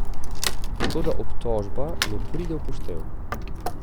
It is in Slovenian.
Toda obtožba ne pride v poštev.